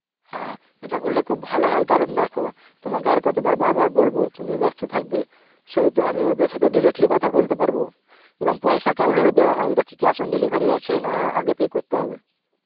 হ্যাঁ ইটা করলে খুব ভালো হয় কারণ দেখো তোমাকে আর কতবার বার বার বলবো, তুমি ব্যাস্ত থাকবে সেহেতু আমি ওদের সথে directly কথা বলতে পারবো এবং পয়েশা কেমন ভাবে দেওয়া হয়, ইটা কি cash on delivery আছে না আগে pay করতে হবে?